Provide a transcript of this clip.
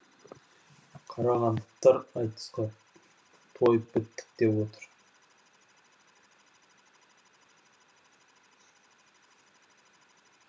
қарағандылықтар айтысқа тойып біттік деп отыр